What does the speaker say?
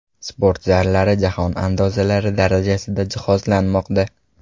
Sport zallari jahon andozalari darajasida jihozlanmoqda.